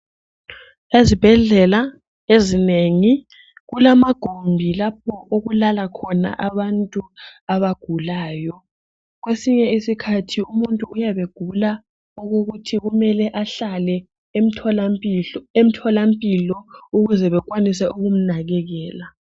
Ezibhedlela ezinengi kulamagumbi lapho okulala khona abantu abagulayo. Kwesinye isikhathi umuntu uyabe egula okokuthi kumele ahlale emtholampilo ukuze bakwanise ukumnakekela.